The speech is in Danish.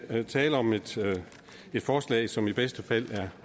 her tale om et forslag som i bedste fald